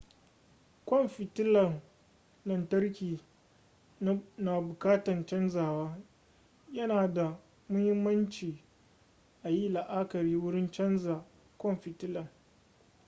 kwan fitilan lantarkin na bukatan canzawa yana da muhimmanci ayi la'akari wurin canza kwan fitilan